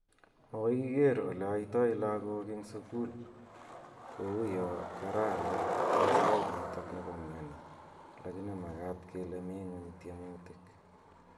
Makoi kiker ole aitoi lagok ing sukul ko uyo kararan ing sait nitok nepo mioni lakini makat kele mii nguny tiemutik.